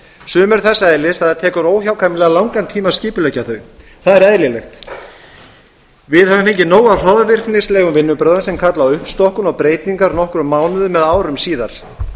sum eru þess eðlis að það tekur óhjákvæmilega langan tíma að skipuleggja þau það er eðlilegt við höfum fengið nóg af hroðvirknislegum vinnubrögðum sem kalla á uppstokkun og breytingar nokkrum mánuðum eða árum síðar